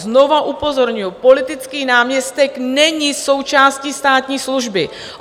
Znovu upozorňuju, politický náměstek není součástí státní služby.